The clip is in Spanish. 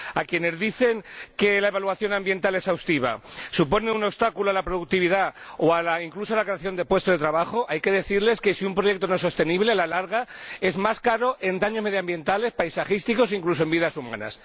A quienes dicen que la evaluación ambiental exhaustiva supone un obstáculo a la productividad o incluso a la creación de puestos de trabajo, hay que decirles que, si un proyecto no es sostenible, a la larga resulta más caro en daños medioambientales, paisajísticos, e incluso en vidas humanas.